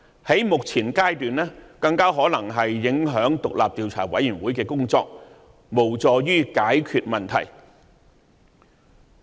在目前階段，更可能影響獨立調查委員會的工作，無助於解決問題。